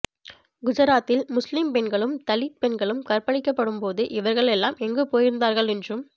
குஜராத்தில் முஸ்லிம் பெண்களும் தலித் பெண்களும் கற்பழிகப்ப்படும்போது இவர்களெல்லாம் எங்கு போயிருந்தார்கள் என்றும்